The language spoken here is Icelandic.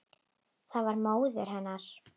Það var móðir hennar.